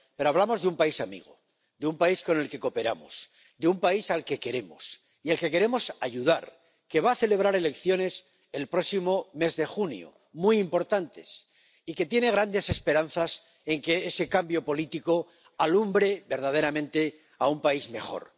Pero hablamos de un país amigo, de un país con el que cooperamos, de un país al que queremos y al que queremos ayudar, que va a celebrar unas elecciones muy importantes el próximo mes de junio y que tiene grandes esperanzas en que ese cambio político alumbre verdaderamente un país mejor.